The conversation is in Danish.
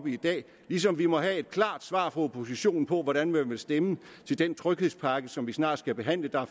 i dag ligesom vi må have et klart svar fra oppositionen på hvordan man vil stemme til den tryghedspakke som vi snart skal behandle der er